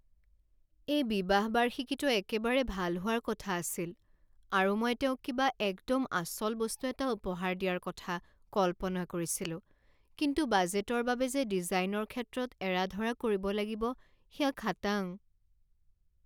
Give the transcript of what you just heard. এই বিবাহ বাৰ্ষিকীটো একেবাৰে ভাল হোৱাৰ কথা আছিল আৰু মই তেওঁক কিবা একদম আচল বস্তু এটা উপহাৰ দিয়াৰ কথা কল্পনা কৰিছিলোঁ। কিন্তু বাজেটৰ বাবে যে ডিজাইনৰ ক্ষেত্ৰত এৰা ধৰা কৰিব লাগিব সেয়া খাটাং ।